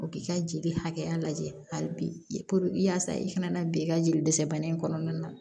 O k'i ka jeli hakɛya lajɛ hali bi yasa i kana bi i ka jeli dɛsɛ bana in kɔnɔna na